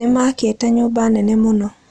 Nĩ maakĩte nyũmba nene mũno.